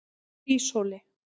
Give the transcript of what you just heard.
Hríshóli